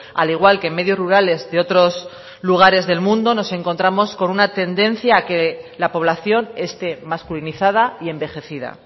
al igual que medios rurales de otros lugares del mundo nos encontramos con una tendencia a que la población esté masculinizada y envejecida